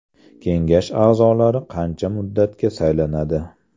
Kengash a’zolari qancha muddatga saylanadi?